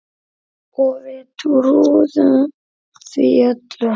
Og við trúðum því öll.